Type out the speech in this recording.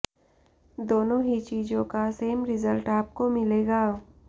दोनों ही चीजों का सेम रिजल्ट आपको मिलेगा